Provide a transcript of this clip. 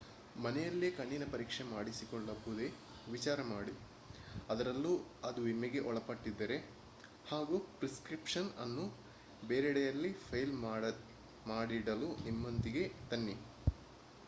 ಮನೆಯಲ್ಲಿಯೇ ಕಣ್ಣಿನ ಪರೀಕ್ಷೆ ಮಾಡಿಸಿಕೊಳ್ಳಬಹುದೇ ವಿಚಾರ ಮಾಡಿ ಅದರಲ್ಲೂ ಅದು ವಿಮೆಗೆ ಒಳಪಟ್ಟಿದ್ದರೆ ಹಾಗೂ ಪ್ರಿಸ್ಕ್ರಿಪ್ಷನ್ ಅನ್ನು ಬೇರೆಡೆಯಲ್ಲಿ ಫೈಲ್ ಮಾಡಿಡಲು ನಿಮ್ಮೊಂದಿಗೆ ತನ್ನಿ